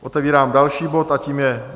Otevírám další bod a tím je